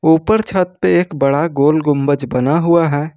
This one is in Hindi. ऊपर छत पे एक बड़ा गोल गुंबज बना हुआ है।